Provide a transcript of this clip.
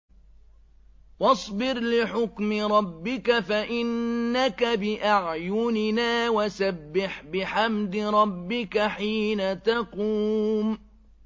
وَاصْبِرْ لِحُكْمِ رَبِّكَ فَإِنَّكَ بِأَعْيُنِنَا ۖ وَسَبِّحْ بِحَمْدِ رَبِّكَ حِينَ تَقُومُ